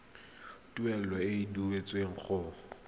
tuelo e e duetsweng go